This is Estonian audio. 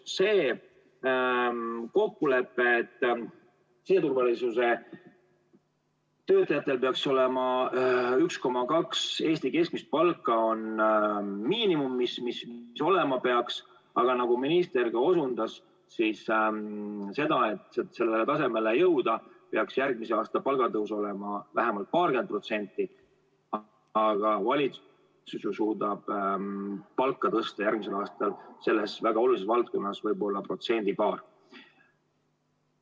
See kokkulepe, et siseturvalisuse töötajad peaksid saama 1,2 Eesti keskmist palka, on miinimum, mis olema peaks Aga nagu minister ka osundas, siis selleks, et sellele tasemele jõuda, peaks järgmise aasta palgatõus olema vähemalt paarkümmend protsenti, kuid valitsus suudab järgmisel aastal selles väga olulises valdkonnas palka tõsta võib-olla protsendi-paar.